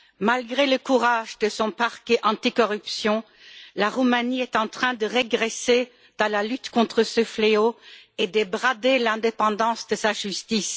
Malgré le courage de son parquet anticorruption, la Roumanie est en train de régresser dans la lutte contre ce fléau et de brader l'indépendance de sa justice.